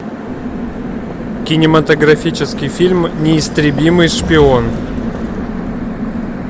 кинематографический фильм неистребимый шпион